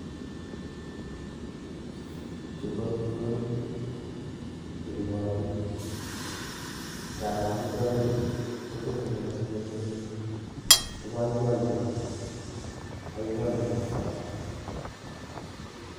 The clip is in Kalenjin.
Chuu ko amitwokik chechobotin, ing'aroo amitwokichu ko kiit nenyone metinyun ko boiboiyo, boiboiyo kabisaa.